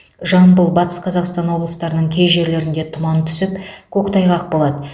жамбыл батыс қазақстан облыстарының кей жерлерінде тұман түсіп көктайғақ болады